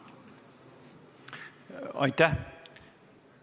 Aitäh!